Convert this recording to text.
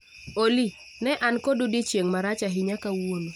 Olly ne an kod odiechieng' marach ahinya kawuono